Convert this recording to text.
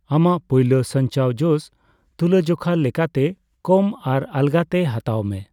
ᱟᱢᱟᱜ ᱯᱳᱭᱞᱳ ᱥᱟᱧᱪᱟᱣ ᱡᱚᱥ ᱛᱩᱞᱟᱹᱡᱚᱷᱟ ᱞᱮᱠᱟᱛᱮ ᱠᱚᱢ ᱟᱨ ᱟᱞᱜᱟᱛᱮ ᱦᱟᱛᱟᱣ ᱢᱮ ᱾